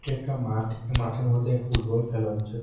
এটা একটা মাঠ এ মাঠের মধ্যে ফুটবল খেলা হচ্ছে।